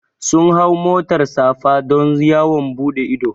Sun hau motar safa don yawon buɗe ido